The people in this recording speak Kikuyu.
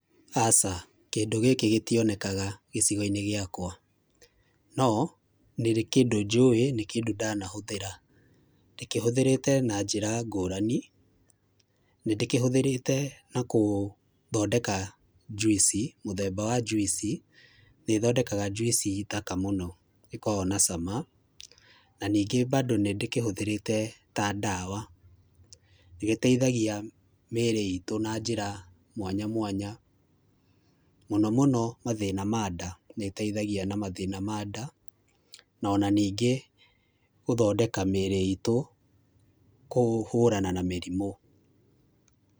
Aca, kĩndũ gĩkĩ gĩtionekaga gĩcigo-inĩ gĩakwa no, nĩrĩ kĩndũ njũĩ nĩ kĩndũ ndanahũthĩra. Ndĩkĩhũthĩrĩte na njĩra ngũrani, nĩndĩkĩhũthĩrĩte na gũthondeka njuici mũthemba wa njuici, nĩthondekaga njuici thaka mũno ĩkoragwo na cama na ningĩ bandũ nĩndĩkĩhũthĩrĩte ta ndawa. Nĩgĩteithagia mĩĩrĩ itu na njĩra mwanya mwanya, mũno mũno mathĩna ma nda. Nĩĩteithagia na mathina ma nda, no na ningĩ gũthondeka mĩĩrĩ itũ kũhũrana na mĩrimũ.